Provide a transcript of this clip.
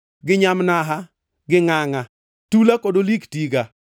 gi nyamnaha, gi ngʼangʼa, tula kod olik tiga.